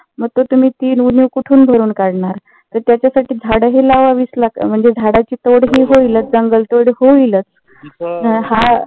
मग ते तुम्ही ती उणीव कुठून भरून काढणार तर त्याच्यासाठी झाडं हि लावाविच लाग म्हणजे झाडाची तोड हि होईलच जंगल तोड होईलच. हा